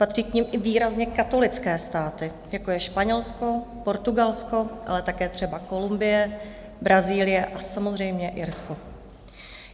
Patří k nim i výrazně katolické státy, jako je Španělsko, Portugalsko, ale také třeba Kolumbie, Brazílie a samozřejmě Irsko.